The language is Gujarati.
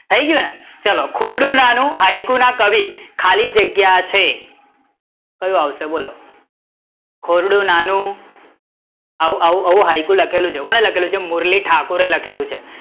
થઇ ગયું ને, ચલો ખોયડું નાનું હાયકુ ના કવિ ખાલી જગ્યા છે કયુ આવશે? બોલો ખોયડું નાનું આવું આવું હાયકુ લખેલું છે કોને લખેલું છે મોરલી ઠાકુરે લખેલું છે